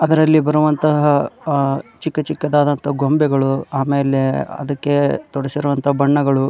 ಅದ್ರಲ್ಲಿ ಬರುವಂತಹ ಅಹ್ ಚಿಕ್ಕಚಿಕ್ಕದಾದಂತಹ ಗೊಂಬೆಗಳು ಆಮೇಲೆ ಅದಕ್ಕೆ ತೊಡಸಿರೋವಂತ ಬಣ್ಣಗಳು --